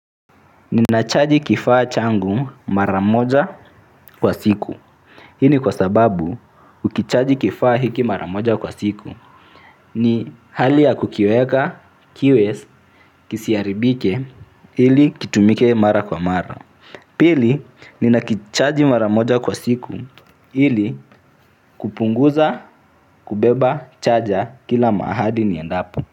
Ninachaji kifaa changu mara moja kwa siku. Hii ni kwa sababu ukichaji kifaa hiki mara moja kwa siku ni hali ya kukiweka, kiwe, kisiharibike ili kitumike mara kwa mara pili, ninakichaji mara moja kwa siku ili kupunguza, kubeba, chaja kila mahali niendapo.